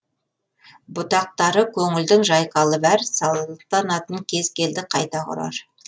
бұтақтары көнілдің жайқалып әр салтанатын кез келді қайта құрар